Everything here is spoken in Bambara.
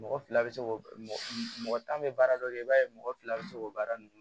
Mɔgɔ fila bɛ se k'o mɔgɔ tan bɛ baara dɔ kɛ i b'a ye mɔgɔ fila bɛ se k'o baara ninnu